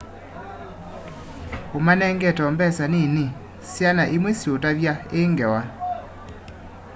umanengete o mbesa nini syana imwe siutavya i ngewa